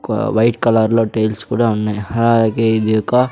ఒక వైట్ కలర్లో టైల్స్ కూడా ఉన్నాయ్ అలాగే ఇది ఒక--